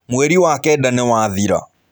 Mweri wa kenda nĩ wathira.